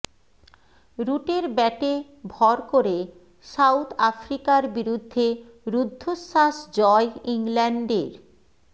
রুটের ব্যাটে ভর করে সাউথ আফ্রিকার বিরুদ্ধে রুদ্ধশ্বাস জয় ইংল্যান্ডের